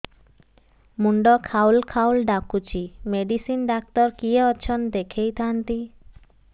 ମୁଣ୍ଡ ଖାଉଲ୍ ଖାଉଲ୍ ଡାକୁଚି ମେଡିସିନ ଡାକ୍ତର କିଏ ଅଛନ୍ ଦେଖେଇ ଥାନ୍ତି